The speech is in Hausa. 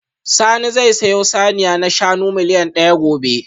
Sani zai sayo saniya na shanu miliyan daya gobe